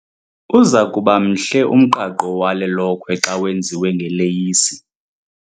Uza kuba mhle umqaqo wale lokhwe xa wenziwe ngeleyisi .